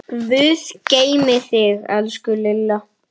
Guð geymi þig, elsku Lilla.